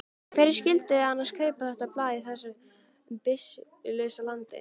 Hverjir skyldu annars kaupa þetta blað í þessu byssulausa landi?